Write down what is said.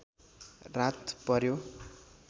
रात पर्‍यो